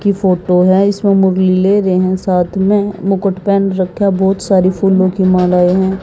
की फोटो है इसमे साथ में मुकुट पेहन राखियाँ बहोत सारी फूल्लो की मालाएं है।